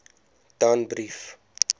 danbrief